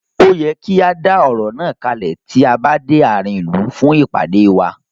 Ó yẹ kí á dá ọ̀rọ̀ náà kalẹ̀ tí a bá dé àárín ìlú fún ìpàdé wa.